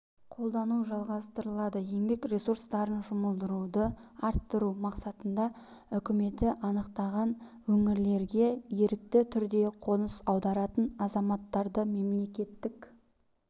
қолдану жалғастырылады еңбек ресурстарын жұмылдыруды арттыру мақсатында үкіметі анықтаған өңірлерге ерікті түрде қоныс аударатын азаматтарды мемлекеттік